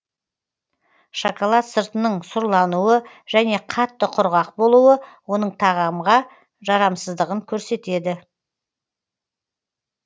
шоколад сыртының сұрлануы және қатты құрғақ болуы оның тағамға жарамсыздығын көрсетеді